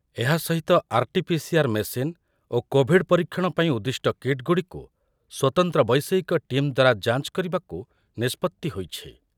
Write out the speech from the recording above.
ଏହା ସହିତ RTPCR machine ଓ କୋଭିଡ଼୍ ପରୀକ୍ଷଣ ପାଇଁ ଉଦ୍ଦିଷ୍ଟ କିଟ୍‌ଗୁଡ଼ିକୁ ସ୍ୱତନ୍ତ୍ର ବୈଷୟିକ ଟିମ୍ ଦ୍ୱାରା ଯାଞ୍ଚ କରିବାକୁ ନିଷ୍ପତ୍ତି ହୋଇଛି ।